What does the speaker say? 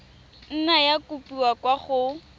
nna ya kopiwa kwa go